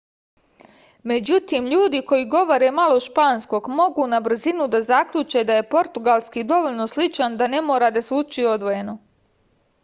međutim ljudi koji govore malo španskog mogu na brzinu da zaključe da je portugalski dovoljno sličan da ne mora da se uči odvojeno